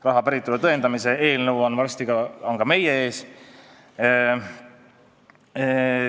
Raha päritolu tõendamise eelnõu on varsti siin meie ees.